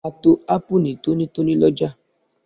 A to Ápù ní tónítóní lọ́jà